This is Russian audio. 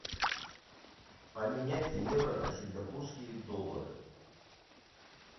поменять евро на сингапурские доллары